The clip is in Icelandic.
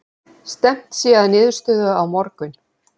Stefnt sé að niðurstöðu á morgun